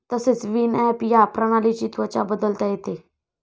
तसेच विनॲप या प्रणालीची त्वचा बदलता येते.